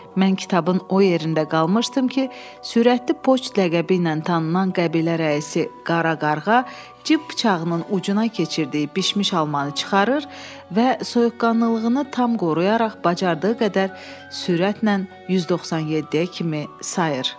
Mən kitabın o yerində qalmışdım ki, sürətli poçt ləqəbi ilə tanınan qəbilə rəisi Qara Qarğa cib bıçağının ucuna keçirdiyi bişmiş almanı çıxarır və soyuqqanlılığını tam qoruyaraq bacardığı qədər sürətlə 197-yə kimi sayır.